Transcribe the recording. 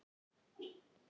Hvaða vinur?